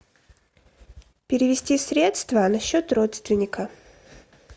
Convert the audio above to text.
перевести средства на счет родственника